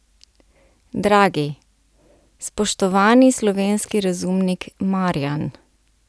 Dragi, spoštovani slovenski razumnik Marjan!